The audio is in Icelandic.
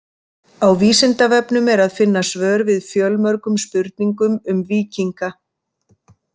Á Vísindavefnum er að finna svör við fjölmörgum spurningum um víkinga.